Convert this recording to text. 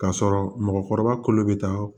K'a sɔrɔ mɔgɔkɔrɔba kolo bɛ taa